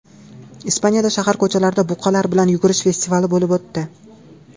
Ispaniyada shahar ko‘chalarida buqalar bilan yugurish festivali bo‘lib o‘tdi .